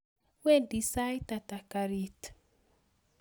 Wendi saitata garit?